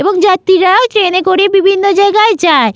এবং যাত্রীরাও ট্রেনে করে বিভিন্ন জায়গায় যায়।